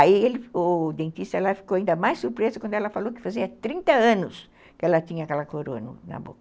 Aí ele, o dentista ficou ainda mais surpreso quando ela falou que fazia trinta anos que ela tinha aquela corona na boca.